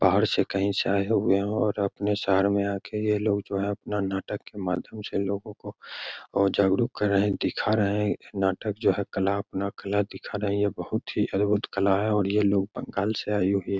बाहर से कहीं से आए हुए हैं और अपने शहर में आके ये लोग जो है अपना नाटक के माध्यम से लोगो को और जागरूक कर रहे हैं दिखा रहे हैं नाटक जो है कला अपना कला दिखा रहे हैं ये बहुत ही अद्भुत कला है और ये लोग बंगाल से आये हुए।